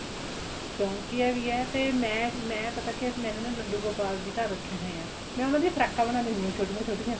ਸ਼ੋਂਕ ਵੀ ਆ ਤੇ ਮੈਂ ਮੈਂ ਪਤਾ ਕੀ ਆ ਮੈਂਨੇ ਨਾ ਲੱਡੂ ਗੋਪਾਲ ਜੀ ਘਰ ਰੱਖੇ ਹੋਏ ਆ ਮੈਂ ਉਹਨਾ ਦੀਆਂ ਫਰਾਕਾਂ ਬਣਾਦੀ ਹੁੰਦੀ ਆ ਛੋਟੀਆਂ ਛੋਟੀਆਂ